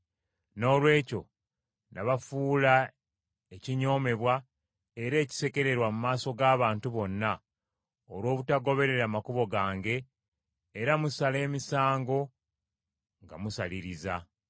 “Noolwekyo nabafuula ekinyoomebwa era ekisekererwa mu maaso g’abantu bonna olw’obutagoberera makubo gange era musala emisango nga musaliriza.”